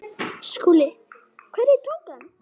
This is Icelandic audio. SKÚLI: Hverjir tóku hann?